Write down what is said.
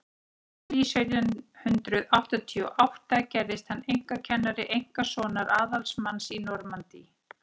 í júlí sautján hundrað áttatíu og átta gerðist hann einkakennari einkasonar aðalsmanns í normandí